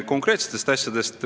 Konkreetsed edasiminekud?